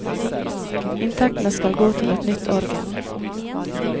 Inntektene skal gå til et nytt orgel.